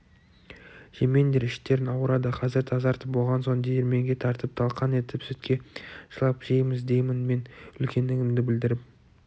жемеңдер іштерің ауырады қазір тазартып болған соң диірменге тартып талқан етіп сүтке шылап жейміз деймін мен үлкендігімді білдіріп